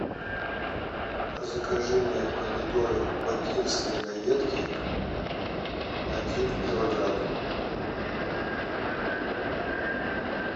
закажи мне помидоры бакинские на ветке один килограмм